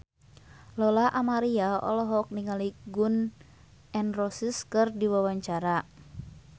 Lola Amaria olohok ningali Gun N Roses keur diwawancara